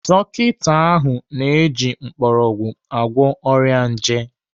Dọkita ahụ na-eji mgbọrọgwụ agwọ ọrịa nje.